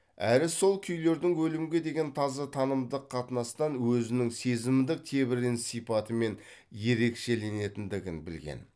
әрі сол күйлердің өлімге деген таза танымдық қатынастан өзінің сезімдік тебіреніс сипатымен ерекшеленетіндігін білген